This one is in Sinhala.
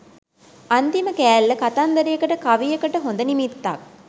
අන්තිම කෑල්ල කතන්දරයකට කවියකට හොඳ නිමිත්තක්